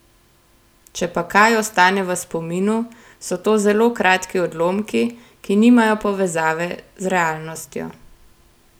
Če pa kaj ostane v spominu, so to zelo kratki odlomki, ki nimajo povezave s realnostjo.